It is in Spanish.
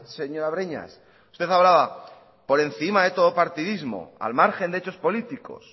señora breñas usted hablaba por encima de todo partidismo al margen de hechos políticos